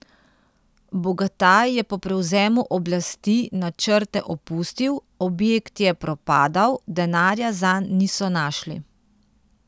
Bogataj je po prevzemu oblasti načrte opustil, objekt je propadal, denarja zanj niso našli.